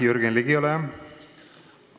Jürgen Ligi, ole hea!